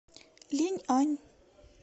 линьань